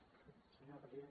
senyora presidenta